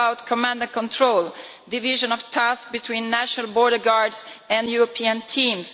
What about command and control division of tasks between national border guards and European teams?